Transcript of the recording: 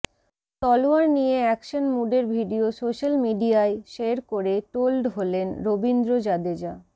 তলোয়ার নিয়ে অ্যাকশন মুডের ভিডিও সোশ্যাল মিডিয়ায় শের করে টোল্ড হলেন রবীন্দ্র জাদেজা